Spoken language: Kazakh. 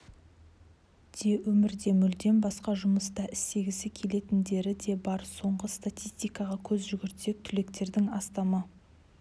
де өмірде мүлдем басқа жұмыста істегісі келетіндері де бар соңғы статистикаға көз жүгіртсек түлектердің астамы